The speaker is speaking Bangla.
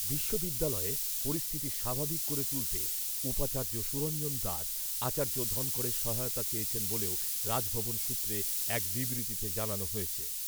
বিশ্ববিদ্যালয়ে পরিস্থিতি স্বাভাবিক করে তুলতে উপাচার্য সুরঞ্জন দাস, আচার্য ধনখড়ের সহায়তা চেয়েছেন বলেও রাজভবন সূত্রে এক বিবৃতিতে জানানো হয়েছে।